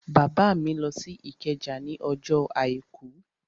Bàbá mi lọ sí Ìkẹjà ní ọjọ́ àìkú